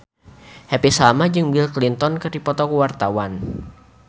Happy Salma jeung Bill Clinton keur dipoto ku wartawan